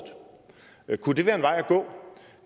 kunne det være en vej